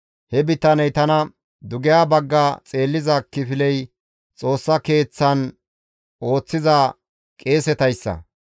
He bitaney tana, «Dugeha bagga xeelliza kifiley Xoossa Keeththan ooththiza qeesetayssa.